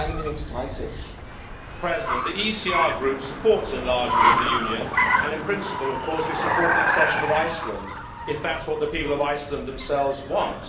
Madam President, the ECR Group supports enlargement of the Union and, in principle, of course we support the accession of Iceland if that is what the people of Iceland themselves want.